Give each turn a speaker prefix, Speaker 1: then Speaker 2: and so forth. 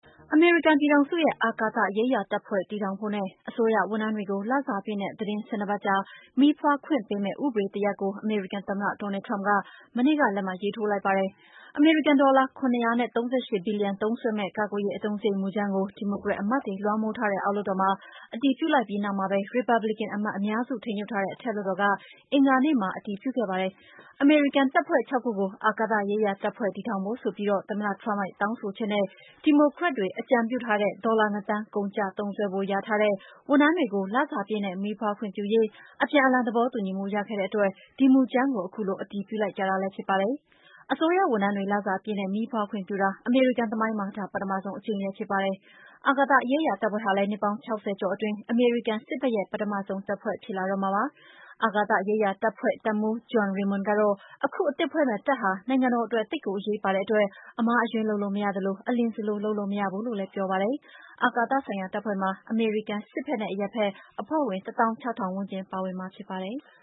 Speaker 1: အမေရိကန်ပြည်ထောင်စုရဲ့ အာကာသရေးရာတပ်ဖွဲ့ တည်ထောင်ဖို့နဲ့ အစိုးရဝန်ထမ်းတွေကို လစာပြည့်နဲ့ သီတင်း ၁၂ ပတ်ကြာ မီးဖွားခွင့်ပေးမယ့် ဥပဒေတရပ်ကို အမေရိကန်သမ္မတ Donald Trump သောကြာနေ့က လက်မှတ်ရေးထိုးလိုက်ပါတယ်။ အမေရိကန်ဒေါ်လာ ၇၃၈ ဘီလီယံ သုံးစွဲမယ့် ကာကွယ်ရေး အသုံးစရိတ် မူကြမ်းကို ဒီမိုကရက်အမတ်တွေ လွှမ်းမိုးထားတဲ့ အောက်လွှတ်တော်မှာ အတည်ပြုလိုက်ပြီးနောက်မှာပဲ ရီပတ်ဘလစ်ကန် အမတ်အများစု ထိန်းချုပ်ထားတဲ့ အထက်လွှတ်တော်က အင်္ဂါနေ့မှာ အတည်ပြုခဲ့ကြတာပါ။ အမေရိကန်တပ်ဖွဲ့ ၆ ခုကို အာကာသရေးရာတပ်ဖွဲ့ တည်ထောင်ဖို့ဆိုပြီး သမ္မတ Trump တောင်းဆိုချက်နဲ့ ဒီမိုကရက်တွေ အကြံပြုထားတဲ့ ဒေါ်လာ ၂ သန်း ကုန်ကျသုံးစွဲဖို့ လျာထားတဲ့ ဝန်ထမ်းတွေကို လစာပြည့်နဲ့ မီးဖွားခွင့်ပြုရေး အပြန်အလှန် သဘောတူညီမှု ရခဲ့တဲ့အတွက် ဒီမူကြမ်းကို ခုလို အတည်ပြုလိုက်ကြတာလည်း ဖြစ်ပါတယ်။ အစိုးရဝန်ထမ်းတွေ လစာပြည့်နဲ့ မီးဖွားခွင့်ပြုတာ အမေရိကန်သမိုင်းမှာ ဒါ ပထမဆုံးအကြိမ်လည်း ဖြစ်ပါတယ်။ အာကာသရေးရာ တပ်ဖွဲ့ဟာလည်း နှစ်ပေါင်း ၆၀ ကျော်အတွင်း အမေရိကန်စစ်ဘက်ရဲ့ ပထမဆုံး တပ်ဖွဲ့သစ်တခု ဖြစ်လာတော့မှာပါ။ အာကာသရေးရာ တပ်ဖွဲ့တပ်မှူး John Raymond ကတော့ ခုအသစ်ဖွဲ့မယ့် တပ်ဟာ နိုင်ငံတော်အတွက် သိပ်ကိုအရေးပါတဲ့အတွက် အမှားအယွင်း လုပ်လို့မရသလို အလျင်စလို လုပ်လို့မရဘူးလို့ ပြောပါတယ်။ အာကာသဆိုင်ရာတပ်ဖွဲ့မှာ အမေရိကန်စစ်ဘက်နဲ့ အရပ်ဘက် အဖွဲ့ဝင် ၁
Speaker 2: ၆၀၀၀ ဝန်းကျင် ပါဝင်မှာဖြစ်ပါတယ်။